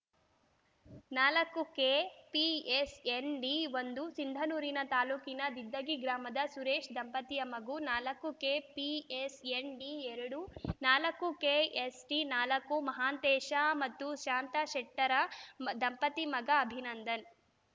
ನಾಲ್ಕು ಕೆಪಿಎಸ್‌ಎನ್‌ಡಿ ಒಂದು ಸಿಂಧನೂರಿನ ತಾಲ್ಲೂಕಿನ ದಿದ್ದಗಿ ಗ್ರಾಮದ ಸುರೇಶ್‌ ದಂಪತಿಯ ಮಗು ನಾಲ್ಕು ಕೆಪಿಎಸ್‌ಎನ್‌ಡಿ ಎರಡು ನಾಲ್ಕು ಕೆಎಸ್‌ಟಿ ನಾಲ್ಕು ಮಹಾಂತೇಶ ಮತ್ತು ಶಾಂತಾ ಶೆಟ್ಟರ್‌ ಮ ದಂಪತಿ ಮಗ ಅಭಿನಂದನ್‌